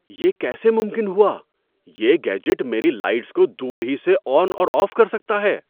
یہ کیسے ممکن ہوا! یہ گیجٹ میری لائٹس کو دور ہی سے آن اور آف کر سکتا ہے؟